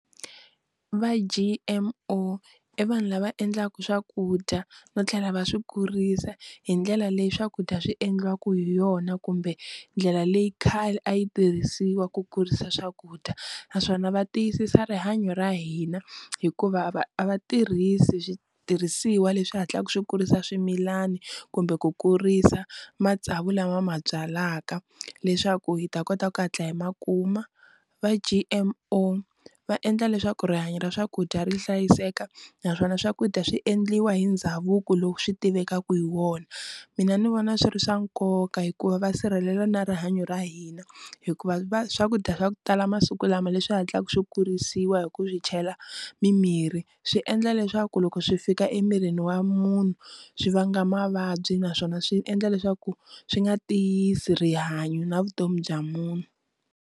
Va G_M_O i vanhu lava endlaka swakudya no tlhela va swi kurisa hi ndlela leyi swakudya swi endliwaka hi yona kumbe ndlela leyi khale a yi tirhisiwa ku kurisa swakudya naswona va tiyisisa rihanyo ra hina hikuva va a va tirhisi switirhisiwa leswi hatlaku swi kurisa swimilani kumbe ku kurisa matsavu lama va ma byalaka leswaku hi ta kota ku hatla hi makuma, va G_M_O va endla leswaku rihanyo ra swakudya ri hlayiseka naswona swakudya swi endliwa hi ndhavuko lowu swi tivekaka hi wona, mina ni vona swi ri swa nkoka hikuva va sirhelela na rihanyo ra hina hikuva va swakudya swa ku tala masiku ku lama leswi hatlaka swi kurisiwa hi ku swi chela mimirhi swi endla leswaku loko swi fika emirini wa munhu swi vanga mavabyi naswona swi endla leswaku swi nga tiyisi rihanyo na vutomi bya munhu.